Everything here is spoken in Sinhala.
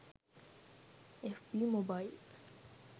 fb mobile